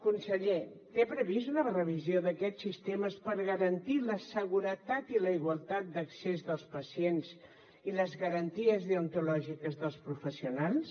conseller té prevista una revisió d’aquests sistemes per garantir la seguretat i la igualtat d’accés dels pacients i les garanties deontològiques dels professionals